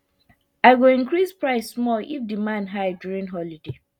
i go increase price small if demand high during holiday